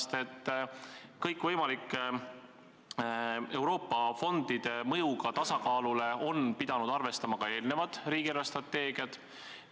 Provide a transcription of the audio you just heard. Nimelt, kõikvõimalike Euroopa fondide mõjuga tasakaalule on pidanud arvestama ka eelmised riigi eelarvestrateegiad.